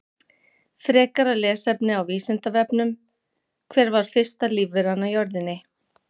Frekara lesefni á Vísindavefnum: Hver var fyrsta lífveran á jörðinni?